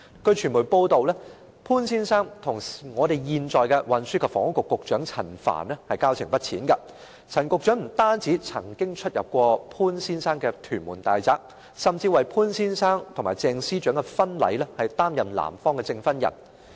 據傳媒報道，潘先生與現任運輸及房屋局局長陳帆交情不淺，陳局長不單曾經出入潘先生的屯門大宅，甚至為潘先生和鄭司長的婚禮擔任男方的證婚人。